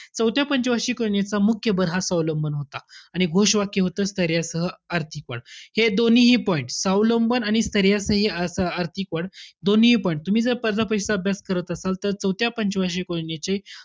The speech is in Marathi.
चौथ्या पंच वार्षिक योजनेचा मुख्य भर हा स्वावलंबन होता. आणि घोषवाक्य होतं स्थैर्यासह आर्थिक वाढ. हे दोन्हीही point स्वावलंबन आणि स्थैर्यासह अर्थ~ आर्थिक वा, दोन्हीही point तुम्ही जर स्पर्धा परीक्षेचा अभ्यास करत असाल तर चौथ्या पंच वार्षिक योजनेचे,